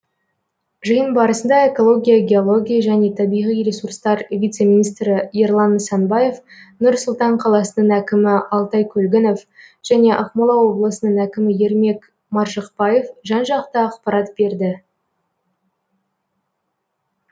жиын барасында экология геология және табиғи ресурстар вице министрі ерлан нысанбаев нұр сұлтан қаласының әкімі алтай көлгінов және ақмола облысының әкімі ермек маржықпаев жан жақты ақпарат берді